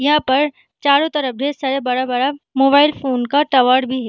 यहाँ पर चारो तरफ ढेर सारा बड़ा बड़ा मोबाइल फ़ोन का टावर भी है।